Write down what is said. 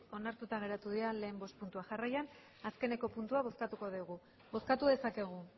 onartuta geratu dira lehen bost puntuak jarraian azkeneko puntua bozkatuko dugu bozkatu dezakegu